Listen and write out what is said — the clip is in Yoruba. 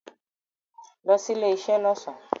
Lo sí ilé isé lọ́sàn